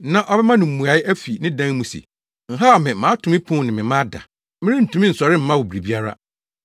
na ɔbɛma no mmuae afi ne dan mu se, ‘Nhaw me! Mato me pon mu ne me mma ada. Merentumi nsɔre mma wo biribiara.’